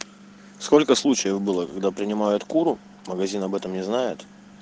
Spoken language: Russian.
сколько случаев было когда принимают куру магазин об этом не знает